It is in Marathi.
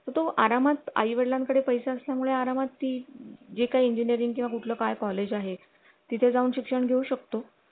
तो आरामात आई वडिलां कडे पैसे असल्यामुळे आरामात ती जे काही इंजीनीरिंग किंवा कुठलं काय कॉलेज आहे तिथे जाऊन शिक्षण घेऊ शकतो